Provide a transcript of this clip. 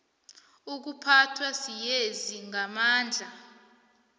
ukuphathwa siyezi ngamandla